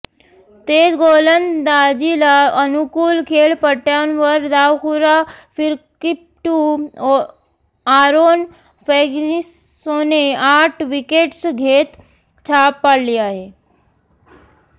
तेज गोलंदाजीला अनुकूल खेळपट्टय़ांवर डावखुरा फिरकीपटू आरोन फँगिसोने आठ विकेट्स घेत छाप पाडली आहे